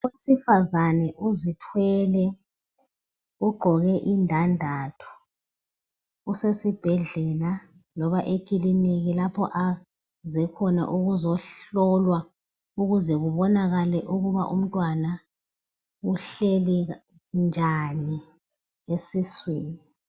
Owesifazana uzithwele ugqoke indandatho, usesibhedlela loba ekiliniki lapho aze khona ukuzohlolwa ukuze kubonakale ukuba umntwana uhleli njani esiswini.